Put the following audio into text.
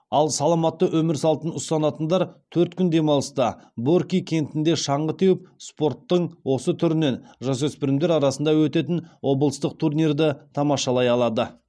ал саламатты өмір салтын ұстанатындар төрт күн демалыста борки кентінде шаңғы теуіп спорттың осы түрінен жасөспірімдер арасында өтетін облыстық турнирді тамашалай алады